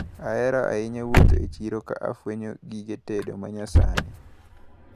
Ahero ahinya wuotho e chiro ka afwenyo gige tedo manyasani.